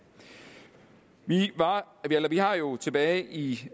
vi har jo tilbage i